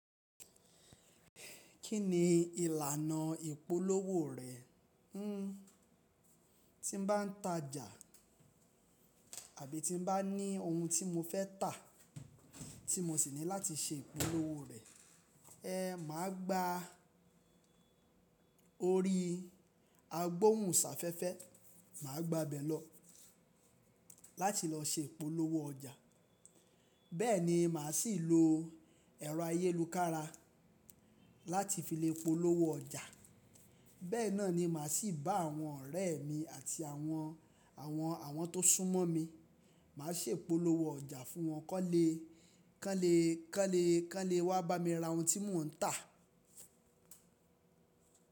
Kíni ìlànà ìpolówó rẹ̀? Hmm, tí n bá n tajà àbí tí n bá ní ohun tí mo fẹ́ tà tí mo sì níláti ṣe ìpolówó rẹ̀, ẹ́ màá gba orí agbohùnsafẹ́fẹ́, màá gba bẹ̀ lọ láti lọ ṣe ìpolówó ọjà. Bẹ́ẹ̀ni màá sì lo ẹ̀rọ ayélukára láti fi lè polówó ọjà. Bẹ́ẹ̀ náà ni màá sì bá àwọn ọ̀rẹ́ mi àti àwọn, àwọn, àwọn tó súnmọ́ mi, màá ṣè polówó ọjà fún wọn kánlẹ́, kánlẹ́, kánlẹ́, kánlẹ́ wá bá mi ra ohun tí mò ń tà.